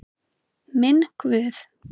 Minn Guð.